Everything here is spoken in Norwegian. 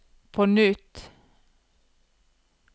på nytt